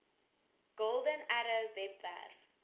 golden arrow webwerf